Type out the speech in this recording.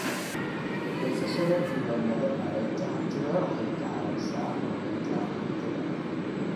Haysashada diiwaannada maaraynta hantida waxay ka caawisaa maaraynta hantida.